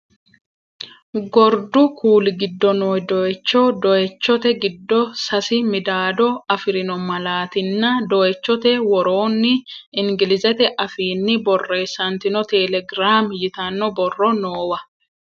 Gordu kuuli giddo noo dooyicho, dooyichote giddo sasi midaadaamo afirino malaatinna dooyichote woroonni ingilizete afiinni borreessantino telegirami yitanno borro noowa.